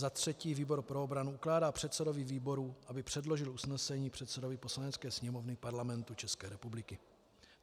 Za třetí výbor pro obranu ukládá předsedovi výboru, aby předložil usnesení předsedovi Poslanecké sněmovny Parlamentu České republiky.